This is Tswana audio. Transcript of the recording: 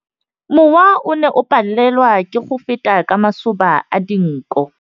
Mowa o ne o palelwa ke go feta ka masoba a dinko.